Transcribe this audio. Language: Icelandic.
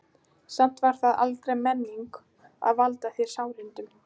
Samt var það aldrei meiningin að valda þér sárindum.